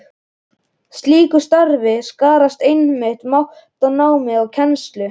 Í slíku starfi skarast einmitt mat á námi og kennslu.